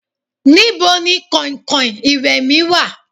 níbo ni kankan iwe mi wa?